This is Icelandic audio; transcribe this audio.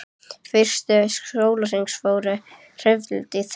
Fyrstu sólarhringarnir fóru hreinlega í þrif.